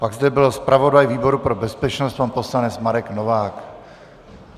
Pak zde byl zpravodaj výboru pro bezpečnost pan poslanec Marek Novák.